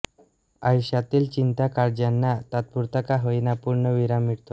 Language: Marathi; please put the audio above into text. आयुष्यातील चिंता काळज्यांना तात्पुरता का होईना पूर्णविराम मिळतो